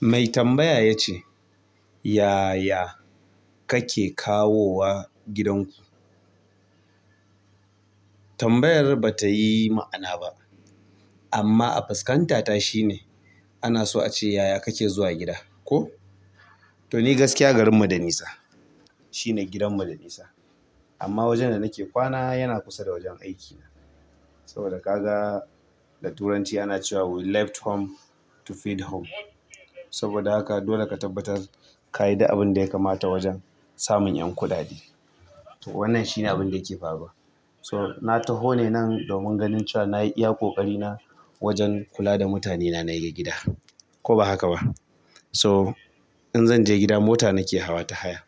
Mai tambaya ya ce "Yaya kake kawowa gidanku?" Tambayar ba ta yi ma'ana ba amma a fuskanta ta shine ana so a ce yaya kake zuwa gida ko? To ni gaskiya garinmu da nisa. Shine gidanmu da nisa amma wajen da nake kwana yana kusa da wajen aikina. Saboda ka ga da turanci ana cewa "We left home to feed home" saboda haka dole ka tabbatar ka yi da abin da ya kamata wajen samun 'yan kuɗaɗe. Wannan shine abin da yake faruwa. So na taho ne nan domin ganin cewa na yi iya ƙoƙarina wajen kula da mutane na na yiga gida ko ba haka ba. So in zanje gida mota nake hawa ta haya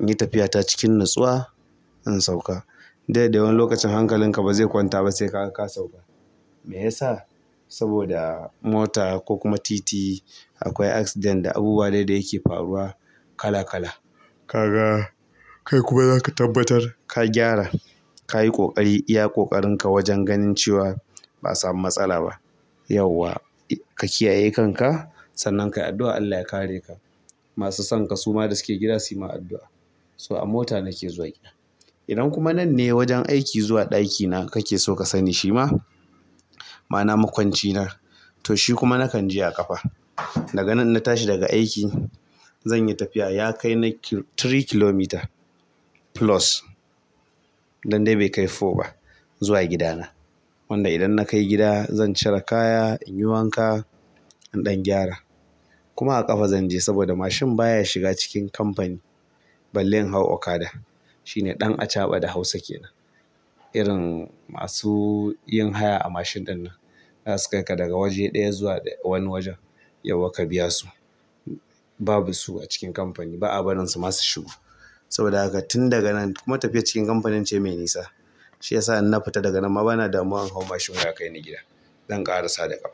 in yi tafiya ta cikin nutsuwa, in sauka. Du dadai wani lokacin hankalinka ba zai kwanta ba sai kagaka sauka. Mai yasa? Saboda mota ko kuma titi akwai accident da abubuwa dai da yake faruwa. Kala kala. Kaga kai kuma zaka tabbatar ka gyara. Kayi ƙoƙari iya ƙoƙarinka wajen ganin cewa ba'a samu matsala ba yawwa ka kiyaye kanka sannan kayi addu'a Allah ya kareka. Masu sonka suma da suke gida suyi ma addu'a. So a mota nake zuwa gida. Idan kuma nan ne wajen aiki zuwa ɗakina kakeso ka sani. Shima? Ma'ana makwancina to shi kuma nakan je a ƙafa. Daga nan in natashi daga aiki zanyi tafiya yakai na uku kilometer plus dan dai bai kai huɗu ba zuwa gidana wanda idan na kai gida zan cire kaya inyi wanna in ɗan gyara kuma a ƙafa zanje, saboda mashin baya shiga cikin kamfani balle in hau okada shine ɗan acaɓa da Hausa kenan. Masu yin haya a mashin ɗinnan, zasu kaika daga wani waje zuwa wani wajen yawwa ka biyasu. Babu su acikin kamfani, ba'a barinsu ma su shigo saboda haka tun daga nan, kuma tafiyar cikin kamfanin ce mai nisa. Shi yasa in na futa daga nan ma bana damuwa in hau mashin wai akaini gida, zan ƙarasa da ƙafata.